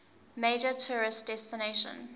major tourist destination